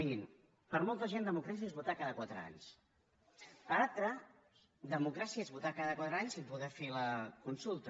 mirin per molta gent democràcia és votar cada quatre anys per altra democràcia és votar cada quatre anys i poder fer la consulta